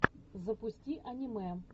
запусти аниме